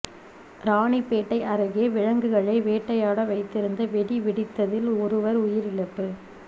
ராணிப்பேட்டை அருகே விலங்குகளை வேட்டையாட வைத்திருந்த வெடி வெடித்ததில் ஒருவர் உயிரிழப்பு